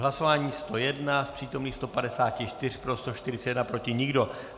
Hlasování 101, z přítomných 154 pro 141, proti nikdo.